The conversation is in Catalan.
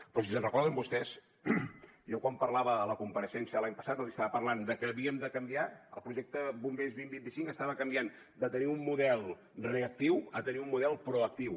però si se’n recorden vostès jo quan parlava a la compareixença de l’any passat els estava parlant de que havíem de canviar el projecte bombers dos mil vint cinc estava canviant de tenir un model reactiu a tenir un model proactiu